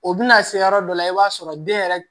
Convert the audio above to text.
O bɛna se yɔrɔ dɔ la i b'a sɔrɔ den yɛrɛ